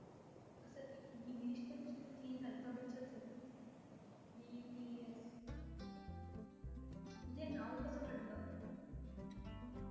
असं english चे नुसते तीन alphabets च आहेत. BTS हे नाव कसं पडलं?